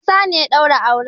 Isa ne ya daura auren.